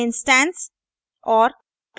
instance instance और